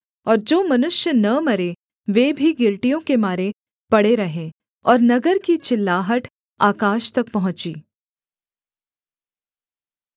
और जो मनुष्य न मरे वे भी गिलटियों के मारे पड़े रहे और नगर की चिल्लाहट आकाश तक पहुँची